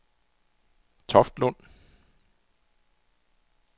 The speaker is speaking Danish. Toftlund